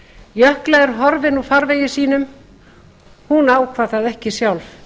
jökla er horfin úr farvegi sínum hún ákvað það ekki sjálf